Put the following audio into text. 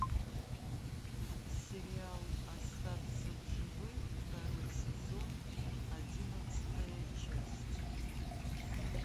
сериал остаться в живых второй сезон одиннадцатая часть